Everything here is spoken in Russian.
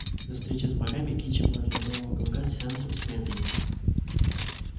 до встречи с богами кичи была для белого клыка центром вселенной